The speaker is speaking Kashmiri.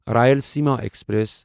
رایلاسیٖما ایکسپریس